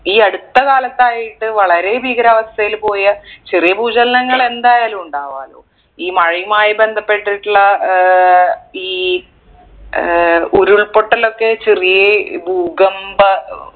ഈ അടുത്ത കാലത്തായിട്ട് വളരെ ഭീകരാവസ്ഥയിൽ പോയ ചെറിയ ഭൂചലനങ്ങൾ എന്തായാലും ഉണ്ടാവാലോ ഈ മഴയുമായി ബന്ധപ്പെട്ടിട്ടുള്ള ഏർ ഈ ഏർ ഉരുൾപൊട്ടലൊക്കെ ചെറിയ ഭൂകമ്പ